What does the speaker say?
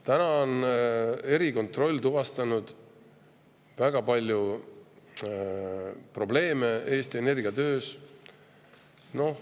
Tänaseks on erikontroll tuvastanud väga palju probleeme Eesti Energia töös.